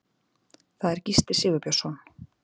Það er Gísli Sigurbjörnsson.